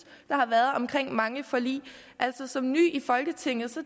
der har været om mange forlig som ny i folketinget